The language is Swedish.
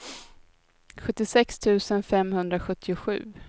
sjuttiosex tusen femhundrasjuttiosju